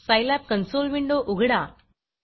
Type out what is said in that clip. Scilab console window उघडा